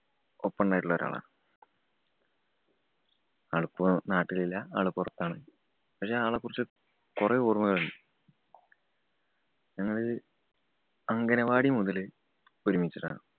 ഒപ്പം ഒണ്ടായിട്ടുള്ള ഒരാളാണ്. ആളിപ്പോ നാട്ടിലില്ല ആള് പൊറത്താണ്. പക്ഷേ, ആളെ കുറിച്ച് കൊറേ ഓര്‍മ്മകളുണ്ട്‌. ഞങ്ങള് അംഗനവാടി മൊതല് ഒരുമ്മിച്ചിട്ടാണ്.